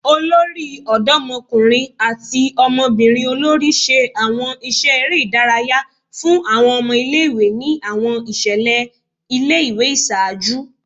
Olori Ọdọmọkunrin ati ọmọbirin olori ṣe awọn iṣẹ ere idaraya fun awọn ọmọ ile-iwe ni awọn iṣẹlẹ ile-iwe iṣaaju